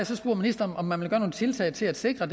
så ministeren om man vil gøre nogle tiltag til at sikre